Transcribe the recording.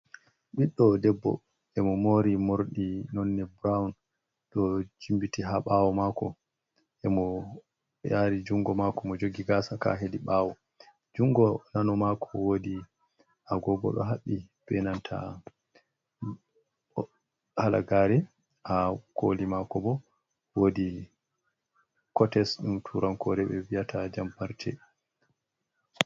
Ɓiɗɗo debbo emo mori morɗi nonne burowun, ɗo jimbiti ha ɓawo mako emo yari jungo mako mo jogi gasa ka hedi ɓawo, jungo nano mako wodi a gogo do haɓɓi benanta halagare, ha koli mako bo wodi kotes ɗum turankore ɓe viyata jam farce.